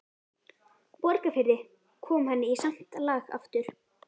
Borgarfirði, kom henni í samt lag aftur.